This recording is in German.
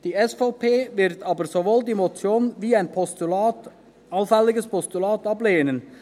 Die SVP wird aber sowohl die Motion wie auch ein allfälliges Postulat ablehnen.